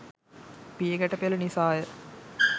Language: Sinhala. පියගැට පෙළ නිසා ය.